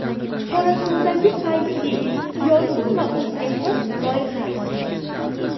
Qorasuvdagi Fayzli – yorqin va o‘ziga xos loyiha.